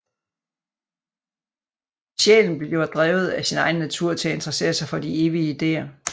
Sjælen bliver drevet af sin egen natur til at interessere sig for de evige ideer